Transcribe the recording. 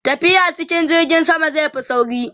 tafiya cikin jirgin sama zai Fi sauri